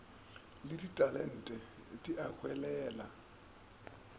le ditalente di a hwelela